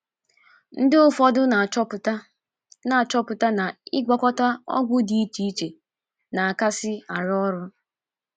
Ndị ụfọdụ na - achọpụta na achọpụta na ịgwakọta ọgwụ dị iche iche na - akasị arụ ọrụ.